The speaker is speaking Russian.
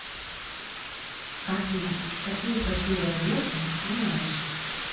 афина какие потеря веса ты знаешь